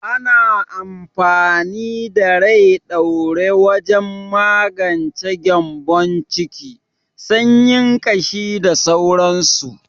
Ana amfani da Rai ɗaure wajen magance gyanbon ciki, sanyin ƙashi da sauransu.